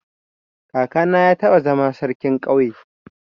Kakana ya taba zama sarkin ƙauyen.